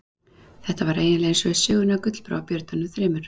Þetta var eiginlega eins og í sögunni af Gullbrá og björnunum þremur.